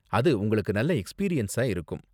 அது உங்களுக்கு நல்ல எக்ஸ்பீரியன்ஸா இருக்கும்.